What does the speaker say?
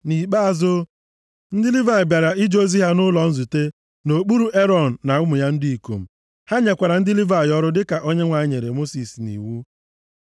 Nʼikpeazụ, ndị Livayị bịara ije ozi ha nʼụlọ nzute nʼokpuru Erọn na ụmụ ya ndị ikom. Ha nyekwara ndị Livayị ọrụ dịka Onyenwe anyị nyere Mosis nʼiwu.